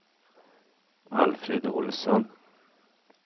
Alfred Olsson